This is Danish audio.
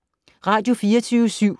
Radio24syv